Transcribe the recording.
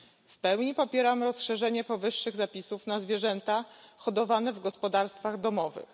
W pełni popieram rozszerzenie powyższych zapisów na zwierzęta hodowane w gospodarstwach domowych.